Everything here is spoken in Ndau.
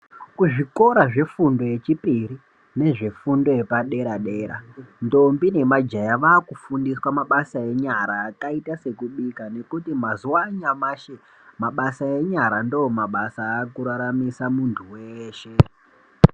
Kuzvikora zvefundo yechipiri nezvefundo yepadera dera ndombi nemajaya vakufundiswa mabasa enyara akaite sekubika ngekuti mazuwa anyamushi mabasa enyara ndomabasa aakuraramisa munhu weshe.